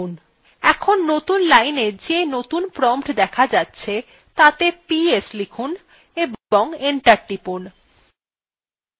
এখন নতুন lineএ যে নতুন prompt দেখা যাচ্ছে তাতে ps লিখুন এবং enter টিপুন